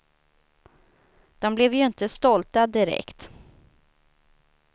De blev ju inte stolta, direkt.